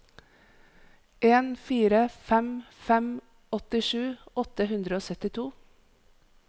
en fire fem fem åttisju åtte hundre og syttito